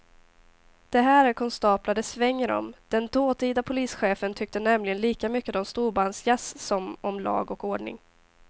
Det här är konstaplar det svänger om, den dåtida polischefen tyckte nämligen lika mycket om storbandsjazz som om lag och ordning.